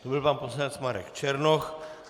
To byl pan poslanec Marek Černoch.